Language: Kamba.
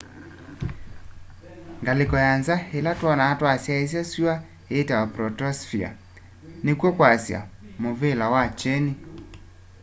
ngalĩko ya nza ĩla twonaa twasyaĩsya syũa ĩĩtawa protosphere nĩkw'o kwasya mũvĩla wa kyeni